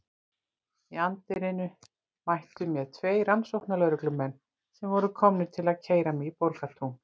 Í anddyrinu mættu mér tveir rannsóknarlögreglumenn sem voru komnir til að keyra mig í Borgartún.